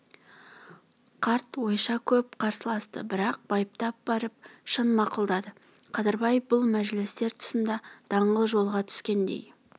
қарт ойша көп қарсыласты бірақ байыптап барып шын мақұлдады қадырбай бұл мәжілістер тұсында даңғыл жолға түскендей